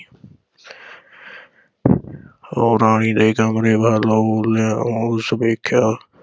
ਉਹ ਰਾਣੀ ਦੇ ਕਮਰੇ ਵੱਲ ਉਸ ਵੇਖਿਆ।